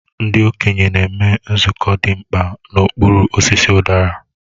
Ndị okenye na-eme nzukọ dị mkpa n'okpuru osisi udara.